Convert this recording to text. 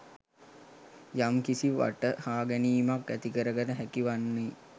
යම්කිසි වටහාගැනීමක් ඇතිකරගත හැකි වන්නේ.